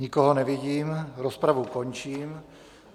Nikoho nevidím, rozpravu končím.